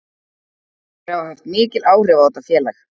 Þeir hafa haft mikil áhrif á þetta félag.